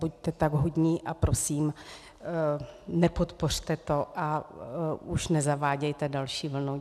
Buďte tak hodní a prosím, nepodpořte to a už nezavádějte další vlnu.